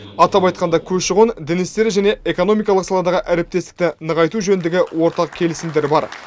атап айтқанда көші қон дін істері және экономикалық саладағы әріптестікті нығайту жөніндегі ортақ келісімдер бар